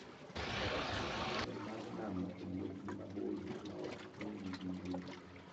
Faras nigi nyalo mar nano e wuodhgi maboyo maok chun - gi gi yueyo.